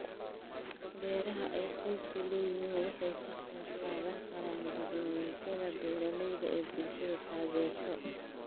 Beeraha ay qoysku leeyihiin waxay ka qaybqaadan karaan barnaamijyada beeralayda ee bulshadu taageerto.